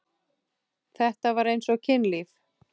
Þetta var eins og kynlíf.